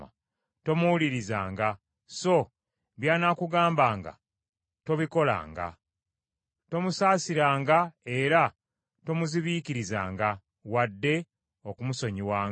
tomuwulirizanga, so by’anaakugambanga tobikolanga. Tomusaasiranga era tomuzibiikirizanga wadde okumusonyiwanga.